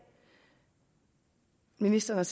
ministeren